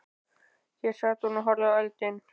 Hér sat hún og horfði í eldinn.